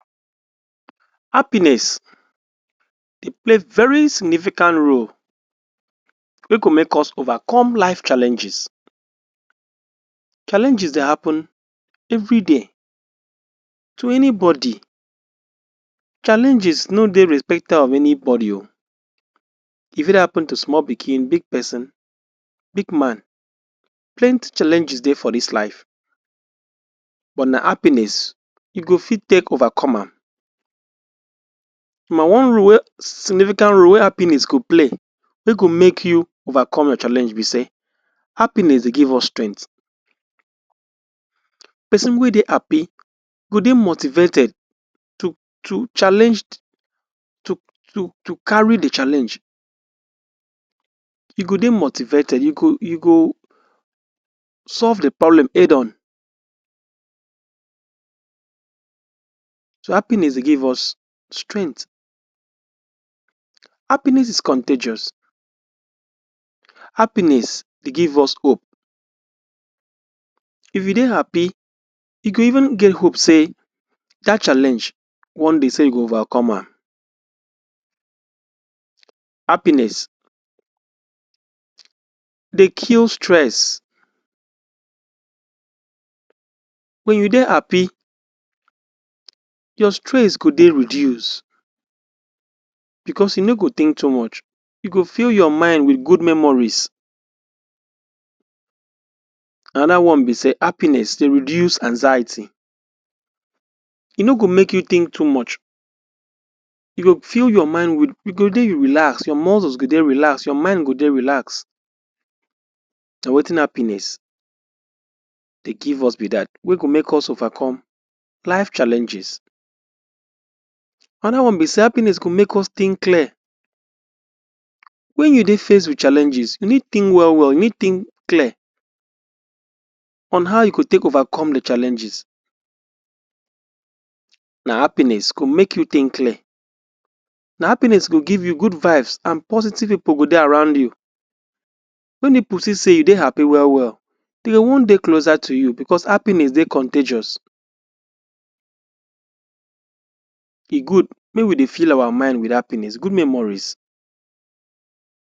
Happiness dey play very significant role wey go make us overcome life challenges. Challenges dey happen everyday to anybody. Challenges no dey respecter of anybody oh. E fit happen to small pikin, big peson, big man. Plenty challenges dey for dis life, but na happiness you go fit take overcome am. Nomba one role wey significant role wey happiness go play wey go make you overcome your challenge be sey happiness dey give us strength. Peson wey dey happy go dey motivated to challenge to carry the challenge. You go dey motivated, you go you go solve the problem head-on So, happiness give us strength. Happiness is contagious. Happiness dey give us hope. If you dey happy, you go even get hope sey that challenge one day sey you go overcome am. Happiness dey kill stress. When you dey happy, your stress go dey reduce becos you no go think too much. You go fill your mind with good memories. Another one be sey happiness dey reduce anxiety. E no go make you think too much. You go fill your mind with you go dey relax, your muscles go dey relax, your mind go dey relax. Na wetin happiness dey give us be dat wey go make us overcome life challenges. Another one be sey happiness go make us think clear. Wen you dey face with challenges, you need think well-well, you need think clear on how you go take overcome the challenges. Na happiness go make you think clear. Na happiness go give you good vibes an positive pipu go dey around you. Wen pipu see sey you dey happy well-well, de go wan dey closer to you becos happiness dey contagious. E good mey we dey fill our mind with happiness, good memories.